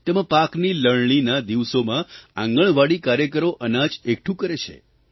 તેમાં પાકની લણણીના દિવસોમાં આંગણવાડી કાર્યકરો અનાજ એકઠું કરે છે